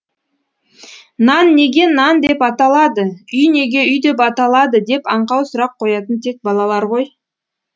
нан неге нан деп аталады үй неге үй деп аталады деп аңқау сұрақ қоятын тек балалар ғой